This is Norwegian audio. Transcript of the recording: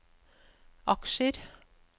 aksjer